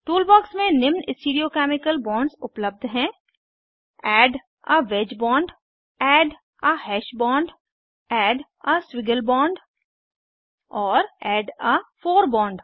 toolbox में निम्न stereo chemical bonds उपलब्ध हैं add a wedge bond add a hash bond add a squiggle bond और add a four bond